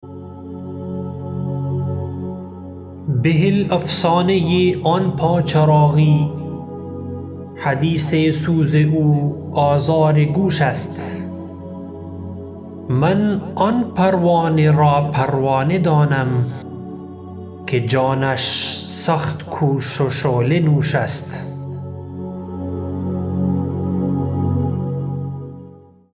بهل افسانه آن پا چراغی حدیث سوز او آزار گوش است من آن پروانه را پروانه دانم که جانش سخت کوش و شعله نوش است